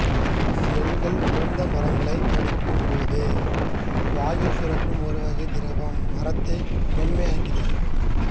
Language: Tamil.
செல்கள் உலர்ந்த மரங்களை கடிக்கும்போது வாயில் சுரக்கும் ஒருவகை திரவம் மரத்தை மென்மையாக்குகிறது